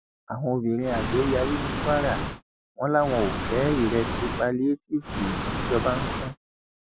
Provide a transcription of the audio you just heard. àwọn obìnrin àgbẹ yarí ní kwara wọn làwọn ò fẹ ìrẹsì pálíétìífù tìjọba ń pín